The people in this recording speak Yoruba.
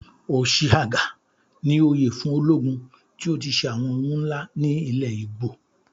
"Ochiagha" ni oyè fún ológun tí ó ti ṣe àwọn ohun ńlá ní ilẹ̀ Igbo.